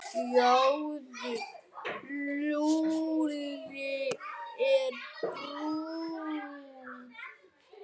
Sjáðu, Lúlli er brúnn.